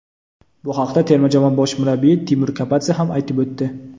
Bu haqda terma jamoa bosh murabbiyi Timur Kapadze ham aytib o‘tdi.